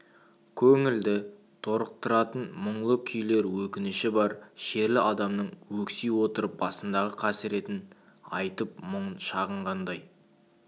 көңілді торықтыратын мұңлы күйлер өкініші бар шерлі адамның өкси отырып басындағы қасіретін айтып мұңын шағынғандай